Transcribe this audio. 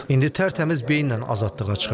İndi tərtəmiz beyinlə azadlığa çıxır.